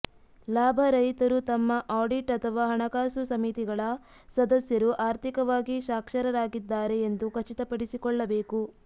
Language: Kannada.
ಲಾಭರಹಿತರು ತಮ್ಮ ಆಡಿಟ್ ಅಥವಾ ಹಣಕಾಸು ಸಮಿತಿಗಳ ಸದಸ್ಯರು ಆರ್ಥಿಕವಾಗಿ ಸಾಕ್ಷರರಾಗಿದ್ದಾರೆ ಎಂದು ಖಚಿತಪಡಿಸಿಕೊಳ್ಳಬೇಕು